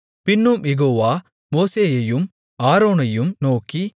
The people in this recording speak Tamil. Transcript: பின்னும் யெகோவா மோசேயையும் ஆரோனையும் நோக்கி